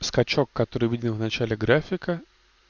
скачок который видел в начале графика